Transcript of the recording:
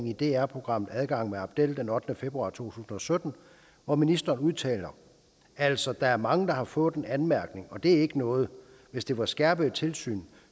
i dr programmet adgang med abdel den ottende februar to tusind og sytten hvor ministeren udtaler altså der er mange der har fået en anmærkning og det er ikke noget hvis det var skærpede tilsyn